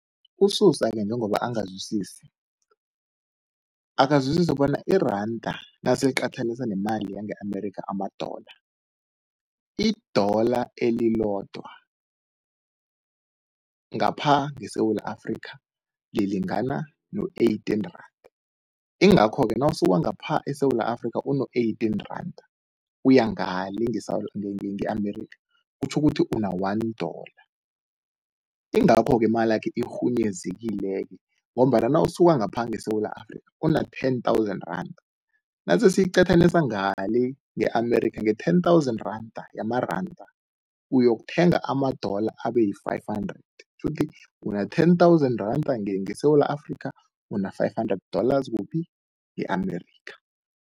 USusa-ke njengoba angazwisisi, akazwisise bona iranda naseliqathaniswa nemali yange-America ama-dollar, i-dollar elilodwa ngapha ngeSewula Afrika lilingana no-eighteen randa, ingakho-ke nawusuka ngapha eSewula Afrika uno-eighteen randa, uya ngale nge-America kutjho ukuthi una-one dollar, ingakho-ke imalakhe irhunyezekile-ke ngombana nawusuka ngapha ngeSewula Afrika una-ten thousand randa, nasesiyiqathanisa ngale nge-America, nge-ten thousan randa, yamaranda, uyokuthenga ama-dollar abeyi-five hundred, kutjho ukuthi una-ten thousand randa ngeSewula Afrika, una-five hundred dollars kuph? E-America.